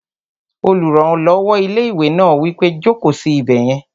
Olùrànlọ́wọ́ ilé-ìwé náà wí pé, "Jòkó sí ibẹ̀ yẹn!"